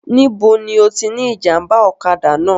Níbo ni ó ti ní ìjàmbá ọ̀kadà náà?